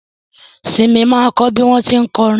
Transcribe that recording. Simi ma kọ́ bí wọ́n tí ń kọrin